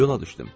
Yola düşdüm.